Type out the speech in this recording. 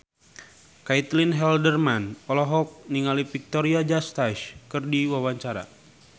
Caitlin Halderman olohok ningali Victoria Justice keur diwawancara